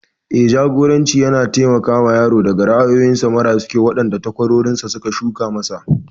Eh, Jagoranci yana taimakawa yaro daga ra'ayoyi mara kyau waɗanda takwarorinsa suka shuka masa.